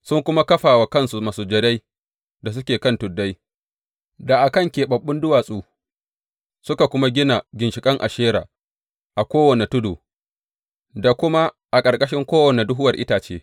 Sun kuma kafa wa kansu masujadai da suke kan tuddai, da a kan keɓaɓɓun duwatsu, suka kuma gina ginshiƙan Ashera a kowane tudu, da kuma a ƙarƙashin kowane duhuwar itace.